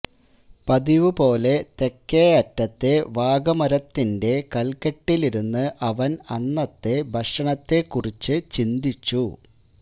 പതിവുപോലെ തെക്കേ അറ്റത്തെ വാകമരത്തിന്റെ കൽകെട്ടിലിരുന്ന് അവൻ അന്നത്തെ ഭക്ഷണത്തെ കുറിച്ചു ചിന്തിച്ചു